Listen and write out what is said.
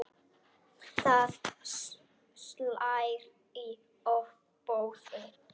Það slær í ofboði.